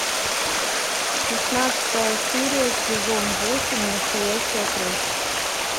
шестнадцатая серия сезон восемь настоящая кровь